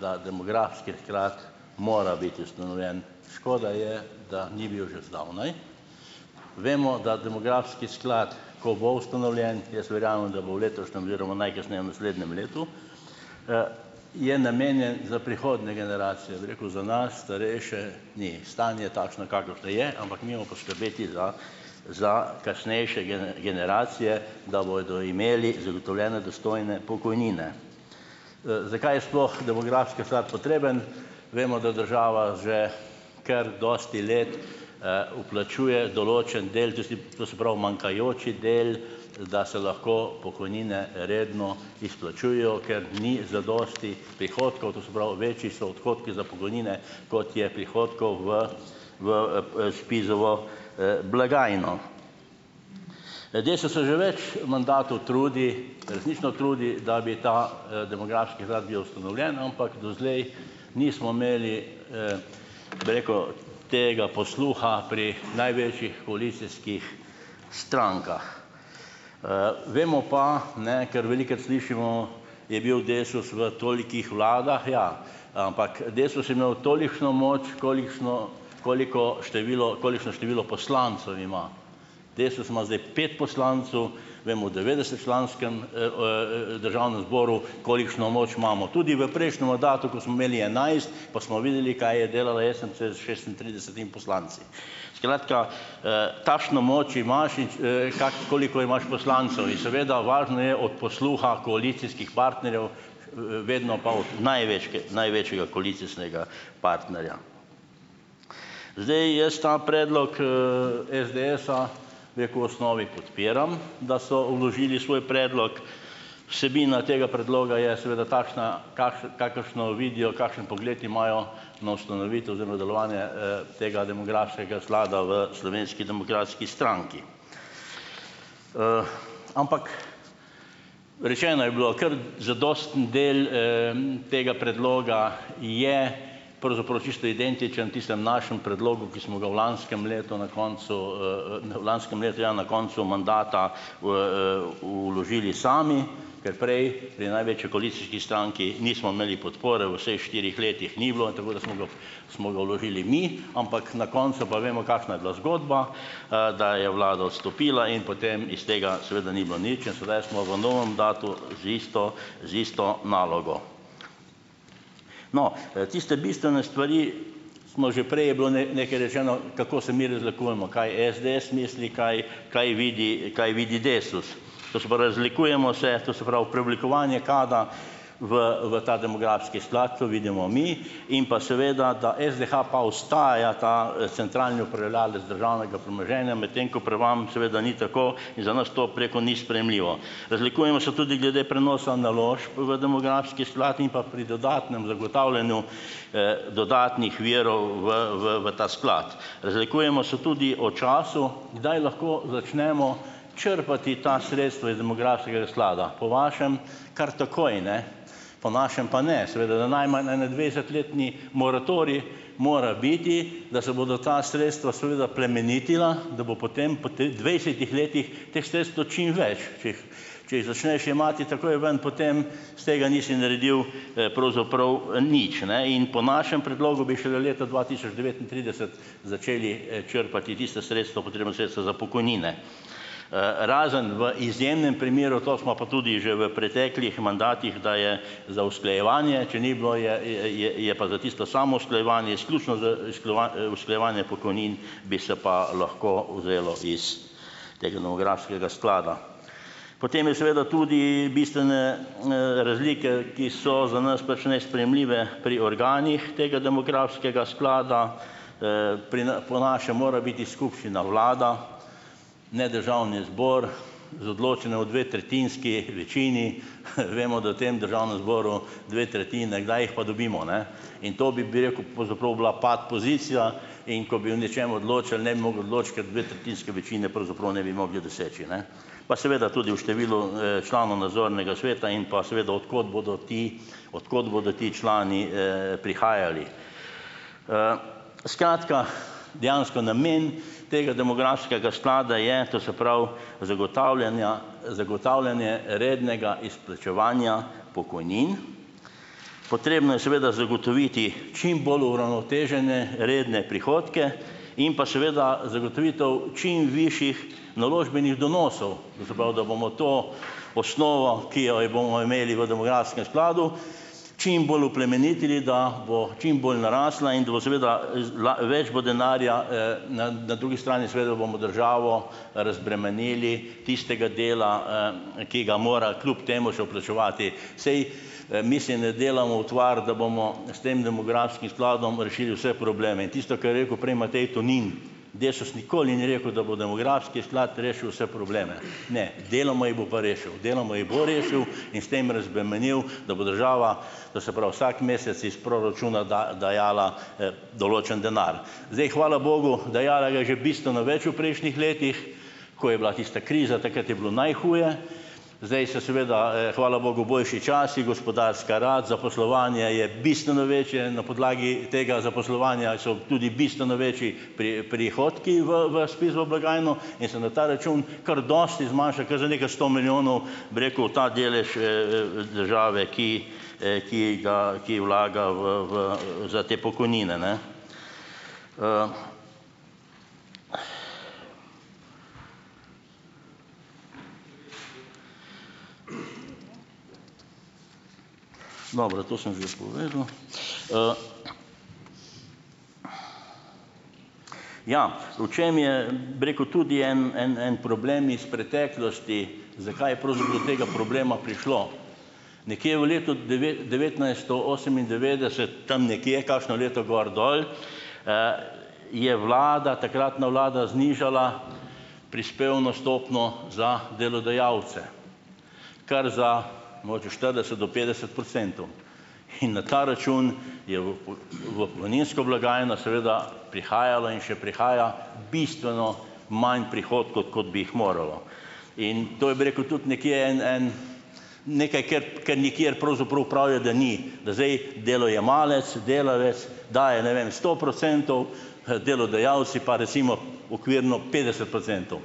da demografski sklad mora biti ustanovljen. Škoda je, da ni bil že zdavnaj. Vemo, da demografski sklat, ko bo ustanovljen, jaz verjamem, da bo v letošnjem oziroma najkasneje v naslednjem letu, je namenjen za prihodnje generacije, bi rekel, za nas, starejše ni. Stanje je takšno, kakršno je, ampak mi mo poskrbeti za, za kasnejše generacije, da bojo imeli zagotovljene dostojne pokojnine. zakaj je sploh demografski sklad potreben ? Vemo, da država že kar dosti let vplačuje določen del to se pravi manjkajoči del, da se lahko pokojnine redno izplačujejo, ker ni zadosti prihodkov , to se pravi večji so odhodki za pokojnine, kot je prihodkov v, v SPIZ-ovo blagajno. DESUS se že več mandatov trudi, resnično trudi, da bi ta demografski bil ustanovljen, ampak doslej nismo imeli, bi rekel, tega posluha pri največjih koalicijskih strankah. vemo pa, ne, ker velikokrat slišimo, je bil DESUS v tolikih vladah, ja, ampak DESUS je imel tolikšno moč, kolikšno koliko število, kolikšno število poslancev ima. DESUS ima zdaj pet poslancev, vemu devetdeset slanskem Državnem zboru, kolikšno moč imamo. Tudi v prejšnjem mandatu, ko smo imeli enajst, pa smo videli, kaj je delala SMC s šestintridesetim poslanci. Skratka, takšno moč imaš , koliko imaš poslancev. In seveda , važno je od posluha koalicijskih partnerjev, vedno pa od največjega koalicijskega partnerja. Zdaj, jaz ta predlog SDS-a, bi rekel, osnovi podpiram, da so vložili svoj predlog. Vsebina tega predloga je seveda takšna, kakršno vidijo, kakšen pogled imajo, no, ustanovitev oziroma delovanje tega demografskega sklada v Slovenski demokratski stranki. ampak, rečeno je bilo, kar zadosten del tega predloga je pravzaprav čisto identičen tistemu našemu predlogu, ki smo ga v lanskem letu na koncu v lanskem letu, ja, na koncu mandata v vložili sami, ker prej je največji koalicijski stranki nismo imeli podpore v vseh štirih letih ni bilo, tako da smo ga , smo ga vložili mi, ampak na koncu pa vemo, kakšna je bila zgodba, da je vlada odstopila in potem iz tega seveda ni bilo nič in sedaj smo v novem datu z isto, z isto nalogo. No, tiste bistvene stvari smo že prej, je bilo nekaj rečeno, kako se mi razlikujemo, kaj je SDS misli, kaj, kaj vidi, kaj vidi DESUS. To se pravi, zaslikujemo se, to se pravi preoblikovanje, kdaj v v ta demografski sklad, to vidimo mi. In pa seveda, da SDH pa ostaja ta centralni upravljalec državnega premoženja, med ko pri vam seveda ni tako in za nas to preko ni sprejemljivo. Razlikujemo se tudi glede prenosa naložb v demografski sklad, pa pri dodatnem zagotavljanju dodatnih virov v, v, v ta sklad. Razlikujemo se tudi o času, kdaj lahko začnemo črpati ta sredstva iz demografskega sklada. Po vašem kar takoj, ne. Po našem pa ne. Seveda, da najmanj ene dvajsetletni moratorij mora biti, da se bodo ta sredstva seveda plemenitila, da bo potem po dvajsetih letih teh sredstev čim več. Če, če jih začneš jemati takoj ven, potem s tega nisi naredil pravzaprav nič, ne. In po našem predlogu bi šele leta dva tisoč devetintrideset začeli črpati tista sredstva, potrebna sredstva za pokojnine. razen v izjemnem primeru, to smo pa tudi že v preteklih mandatih, da je za usklajevanje, če ni bilo je, je, je, je pa za tisto samousklajevanje izključno z usklajevanje pokojnin bi se pa lahko vzelo iz teh novografskega sklada. Potem je seveda tudi bistvene razlike, ki so za nas pač nesprejemljive pri organih tega demografskega sklada, pri po naše mora biti skupščina vlada, ne Državni zbor, z odločene o dvetretjinski večini. vemo, da v tem Državnem zboru dve tretjine, kdaj jih pa dobimo, ne? In to bi, bi rekel, pravzaprav bila pat pozicija, in ko bi o nečem odločali, ne bi mogli odloči, ker dvetretjinske večine pravzaprav ne bi mogli doseči, ne. Pa seveda tudi v številu članov nadzornega sveta in pa seveda, od kod bodo ti, od kod bodo ti člani prihajali. skratka, dejansko namen tega demografskega sklada je, to se pravi zagotavljanja, zagotavljanje rednega izplačevanja pokojnin. Potrebno je seveda zagotoviti čim bolj uravnotežene, redne prihodke in pa seveda zagotovitev čim višjih naložbenih donosov. To se pravi, da bomo to osnovo, ki jo bomo imeli v demografskem skladu čim bolj oplemenitili, da bo čimbolj narasla in da bo seveda več bo denarja na na drugi strani seveda bomo državo razbremenili tistega dela ki ga mora kljub temu še vplačevati. Saj mislim, da delamo utvar, da bomo s tem demografskim skladom rešili vse probleme. In tisto, kar rekel prej Matej Tonin. Desus nikoli ni rekel, da bo demografski sklad rešil vse probleme. Ne. Deloma jih bo pa rešil. Deloma jih bo rešil in s tem razbremenil, da bo država, to se pravi vsak mesec iz proračuna dajala določen denar. Zdaj, hvala bogu, dajala ga je že bistveno več v prejšnjih letih, ko je bila tista kriza, takrat je bilo najhuje. Zdaj so seveda hvala bogu, boljši časi, gospodarska rast, zaposlovanje je bistveno večje, na podlagi tega zaposlovanja so tudi bistveno večji prihodki v, v SPIZ-ovo blagajno in se na ta račun kar dosti zmanjša, kar za nekaj sto milijonov, bi rekel, ta delež države, ki ki ga, ki vlaga v, v , za te pokojnine, ne. Dobro, to sem že povedal. ja, v čem je, bi rekel, tudi en, en, en problem iz preteklosti, zakaj pravzaprav do tega problema prišlo. Nekje v letu devetnajsto osemindevetdeset, tam nekje, kakšno leto gor dol, je vlada, takratna vlada znižala prispevno stopnjo za delodajalce. Kar za mogoče štirideset do petdeset procentov. In na ta račun je u, u, v pokojninsko blagajno seveda prihajalo in še prihaja bistveno manj prihodkov, kot bi jih moralo. In to je, bi rekel, tudi nekje en, en nekaj ker, ker nikjer pravzaprav pravijo, da ni, da zdaj delojemalec, delavec daje, ne vem, sto procentov, delodajalci pa recimo okvirno petdeset procentov.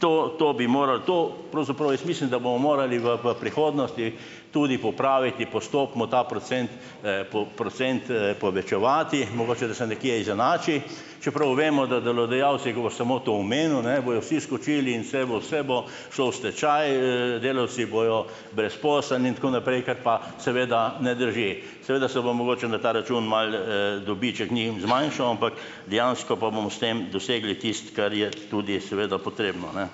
To, to bi morali, to pravzaprav jaz mislim, da bomo morali v, v prihodnosti tudi popraviti postopno ta procent, procent povečevati, mogoče, da se nekje izenači, čeprav vemo, da delodajalci, ko boš samo to omenil, ne, bojo vsi skočili in vse bo, vse bo šlo v stečaj, delavci bojo brezposelni in tako naprej, kar pa, seveda, ne drži. Seveda se bo mogoče na ta račun malo dobiček njim zmanjšal , ampak dejansko pa bomo s tem dosegli tisto, kar je tudi seveda potrebno, ne.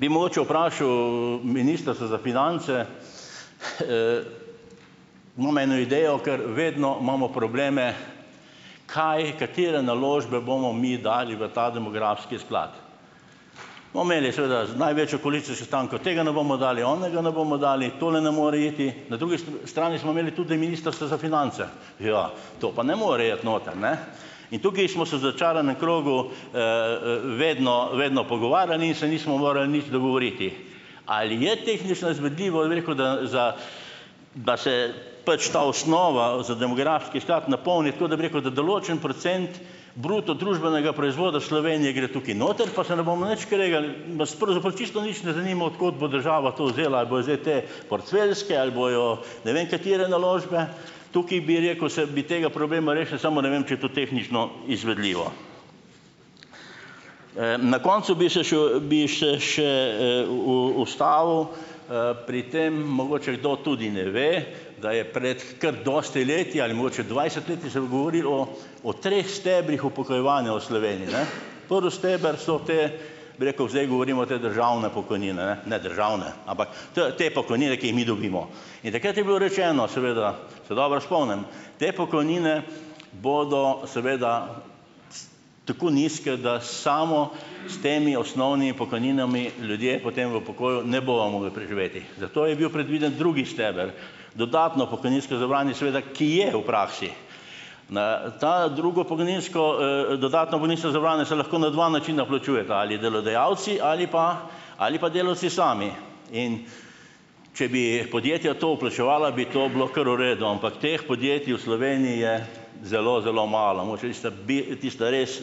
Bi mogoče vprašal Ministrstvo za finance, imam eno idejo, ker vedno imamo probleme, kaj, katere naložbe bomo mi dali v ta demografski sklad. Bomo imeli seveda največjoo sestanka, tega ne bomo dali, onega ne bomo dali, tole ne more iti, na drugi s trani smo imeli tudi Ministrstvo za finance. Ja, to pa ne more iti noter, ne. In tukaj smo se začaranem krogu vedno, vedno pogovarjali, se nismo morali nič dogovoriti. Ali je tehnično izvedljivo, je bi rekel, da za, da se pač ta osnova za demografski sklad napolni, tako da bi rekel, da določen procent bruto družbenega proizvoda Slovenije gre tukaj noter , pa se ne bomo nič kregali, nas pravzaprav čisto nič ne zanima, od kod bo država to vzela. Ali bojo zdaj te porcelske, ali bojo ne vem katere naložbe, tukaj, bi rekel, se bi tega problema rešili, samo ne vem, če je to tehnično izvedljivo. na koncu bi se še, bi še še u, u, ustavil pri tem, mogoče kdo tudi ne ve, da je pred kar dosti leti ali mogoče dvajset leti se govorilo o treh stebrih upokojevanja v Sloveniji, ne . Prvi steber so te, bi rekel, zdaj govorimo o, te državne pokojnine, ne, ne državne, ampak te pokojnine, ki jih mi dobimo. In takrat je bilo rečeno, seveda, se dobro spomnim. Te pokojnine bodo seveda tako nizke, da samo s temi osnovnimi pokojninami, ljudje potem v pokoju, ne bojo mogli preživeti. Zato je bil predviden drugi steber. Dodatno pokojninsko zavarovanje seveda, ki je v praksi na ta, drugo pokojninsko dodatno pokojninsko zavarovanje se lahko na dva načina plačujeta. Ali delodajalci ali pa, ali pa delavci sami. In če bi podjetja to vplačevala, bi to bilo kar v redu, ampak teh podjetij v Sloveniji je zelo, zelo malo. Mogoče tista tista res,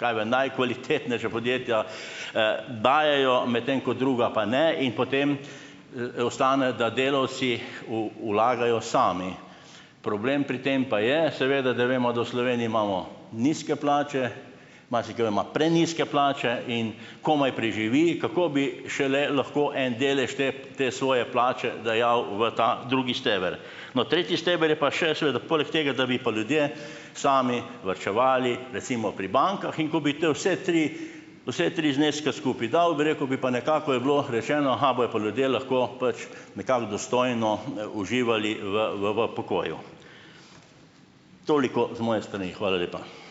kaj vem, najkvalitetnejša podjetja dajejo, medtem ko druga pa ne in potem ostane, da delavci u, vlagajo sami. Problem pri tem pa je, seveda, da vemo, da v Sloveniji imamo nizke plače, marsikdo ima prenizke plače in komaj preživi. Kako bi šele lahko en delež te, te svoje plače dajal v ta drugi steber? No tretji steber je pa še, seveda, poleg tega, da bi pa ljudje sami varčevali, recimo pri bankah in ko bi vse tri, vse tri zneske skupaj dal, bi rekel, bi pa nekako, je bilo rečeno, bojo pa ljudje lahko pač nekako dostojno uživali v, v, v pokoju. Toliko z moje strani. Hvala lepa.